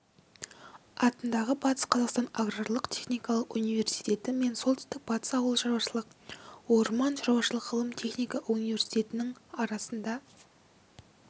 атындағы батыс қазақстан аграрлық-техникалық университеті мен солтүстік батыс ауыл шаруашылық орман шаруашылық ғылым-техника университетінің арасында